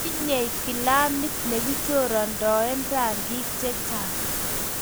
tinyei kilamit ne kichorondoen rangik che chang'